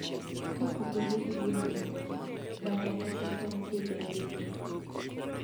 kopogore gi gwen moko, bata toko tong higa duto